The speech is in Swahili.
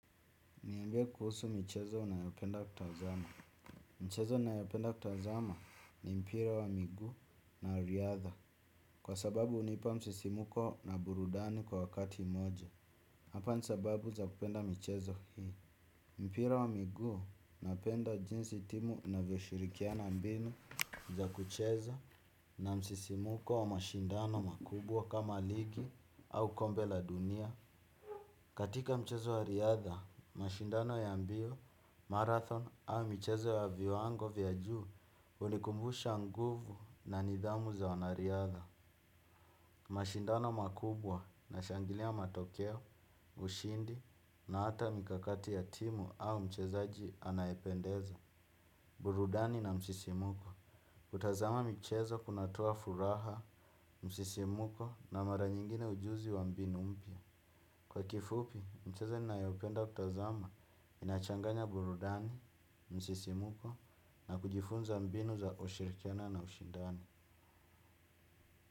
Niambie kuhusu michezo unayopenda kutazama. Michezo ninayopenda kutazama ni mpira wa miguu na wa riadha. Kwa sababu hunipa msisimuko na burudani kwa wakati mmoja. Hapa ni sababu za kupenda michezo hii. Mpira wa miguu, napenda jinsi timu inavyoshirikiana mbinu za kuchezo na msisimuko wa mashindano, makubwa kama ligi au kombe la dunia. Katika mchezo wa riadha, mashindano ya mbio, marathon au michezo ya viwango vya juu hunikumbusha nguvu na nidhamu za wanariadha. Mashindano makubwa, nashangilia matokeo, ushindi na hata mikakati ya timu au mchezaji anayependeza. Burudani na msisimuko, kutazama michezo kunatoa furaha, msisimuko na mara nyingine ujuzi wa mbinu mpya. Kwa kifupi, michezo ninayopenda kutazama, inachanganya burudani, msisimuko na kujifunza mbinu za ushirikiano na ushindani.